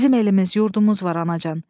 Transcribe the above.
Bizim elimiz, yurdumuz var, anacan.